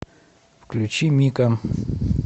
включи мико